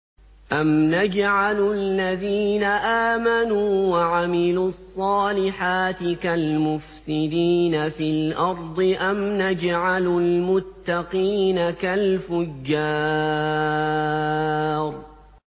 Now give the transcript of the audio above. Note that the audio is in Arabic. أَمْ نَجْعَلُ الَّذِينَ آمَنُوا وَعَمِلُوا الصَّالِحَاتِ كَالْمُفْسِدِينَ فِي الْأَرْضِ أَمْ نَجْعَلُ الْمُتَّقِينَ كَالْفُجَّارِ